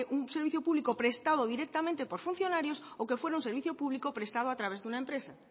un servicio público prestado directamente por funcionarios o que fuera un servicio público prestado a través de una empresa